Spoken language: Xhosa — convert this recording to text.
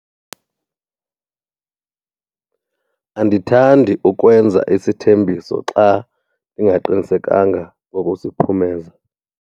Andithandi ukwenza isithembiso xa ndingaqinisekanga ngokusiphumeza.